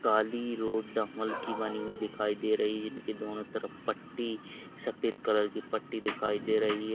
काली road डांबर की बनी हुई दिखाई दे रही है जिनकी दोनों तरफ पट्टी सफेद कलर की पट्टी दिखाई दे रही है।